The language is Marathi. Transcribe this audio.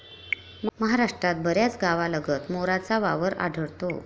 महाराष्ट्रात बऱ्याच गावांलगत मोरांचा वावर आढळतो.